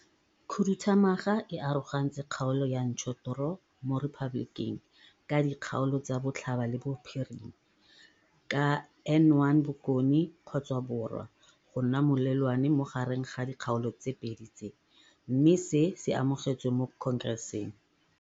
Khuduthamaga e arogantse kgaolo ya ntshothoro mo Repaboleking ka dikgaolo tsa botlhaba le bophirima, ka N1 bokone-borwa go nna molelwane mo gareng ga dikgaolo tse pedi tse, mme se se amogetswe mo Khonkerenseng.